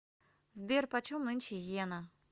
сбер почем нынче йена